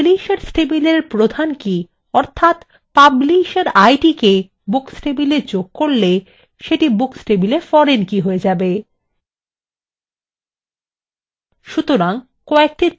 একইভাবে publishers table প্রধান key অর্থাত publisher id কে books table যোগ করলে সেটি books table foreign key হয়ে যাবে